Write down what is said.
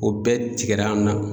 O bɛɛ tigɛra an na